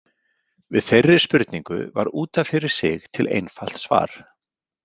Við þeirri spurningu var út af fyrir sig til einfalt svar.